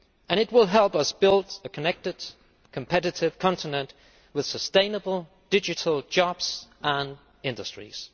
It will help us build a connected, competitive continent with sustainable digital jobs and industries.